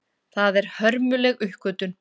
Það er hörmuleg uppgötvun.